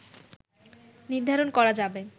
নির্ধারণ করা যাবে